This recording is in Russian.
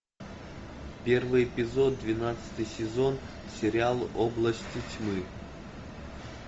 первый эпизод двенадцатый сезон сериал области тьмы